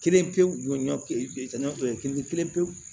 Kelen pe ɲɔ pe peɲɔ kelen kelen pe